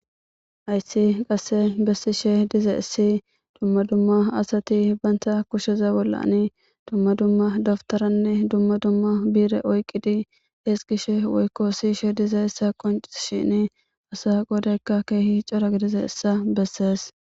Hayssi qasse bessishe dizaissi dumma dumma asati banta kusheza bollani dumma dumma daptaranne dumma dumma bi'ire oyqqidi ezgishe woykko siyishe dizayaissa qonccishin asa godaykka kehi cora gidizayissa bessees.